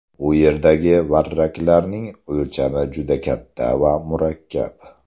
U yerdagi varraklarning o‘lchami juda katta va murakkab.